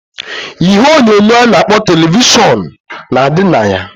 Ihe onyonyo a na-akpọ televishọn na adị na ya.